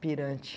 pirante.